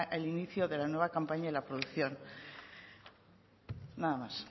el inicio de la nueva campaña y la producción nada más